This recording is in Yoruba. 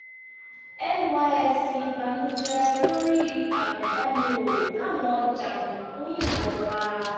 nysc bànújẹ lórí àgunbánirò táwọn jàǹdùkú yìnbọn pa